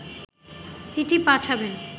চিঠি পাঠাবেন